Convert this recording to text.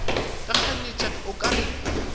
ba kganyetša o ka re